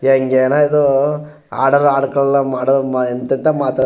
ಹೇಂಗೇನದು ಆಡರ್ ಆಡ್ಕೊಳ್ಳಾ ಮಾಡೋರ್ ಮ ಎಂತೆಂತ ಮಾತ್ --